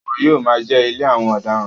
Ẹ̀wọ̀n yóò máa jẹ́ ilé àwọn ọ̀daràn.